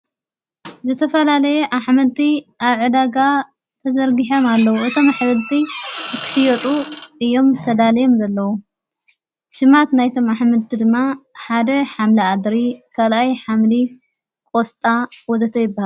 ዘተፈላለየ ኣኅመልቲ ኣዕዳጋ ተዘርጊሐም ኣለዉ እቶም ኣኅበልቲ እክስዮጡ እዮም ተዳልዮም ዘለዉ ሽማት ናይቶም ኣኅምልቲ ድማ ሓደ ሓምላ ዓድሪ ካልኣይ ሓምሊ ኮስጣ ወዘተይበሃሉ።